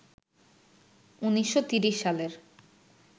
১৯৩০ সালের